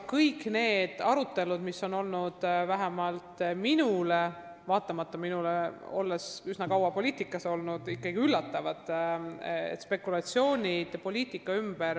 Kõik sellised arutelud on vähemalt minu jaoks – vaatamata sellele, et olen üsna kaua poliitikas olnud – ikkagi üllatavad poliitilised spekulatsioonid.